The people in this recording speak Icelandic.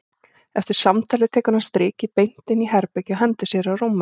Eftir samtalið tekur hann strikið beint inn í herbergi og hendir sér á rúmið.